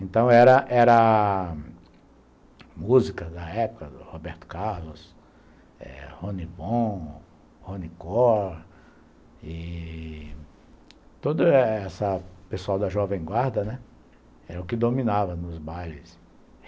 Então era era músicas da época, Roberto Carlos, Ronnie Bond, Ronnie Core... E... Todo esse pessoal da Jovem Guarda, né, era o que dominava nos bailes.